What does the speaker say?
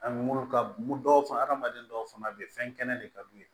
Ani mun ka mun dɔw fana adamaden dɔw fana bɛ yen fɛn kɛnɛ de ka d'u ye